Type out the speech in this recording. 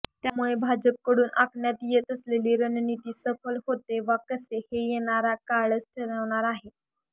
त्यामुळे भाजपकडून आखण्यात येत असलेली रणनीती सफल होते वा कसे हे येणारा काळच ठरवणार आहे